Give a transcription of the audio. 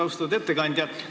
Austatud ettekandja!